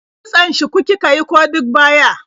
Kitson shuku kika yi ko duk baya?